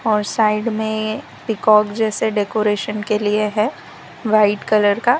और साइड में पीकॉक जैसे डेकोरेशन के लिए है वाइट कलर का --